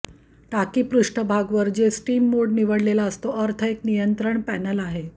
टाकी पृष्ठभाग वर जे स्टीम मोड निवडलेला असतो अर्थ एक नियंत्रण पॅनेल आहे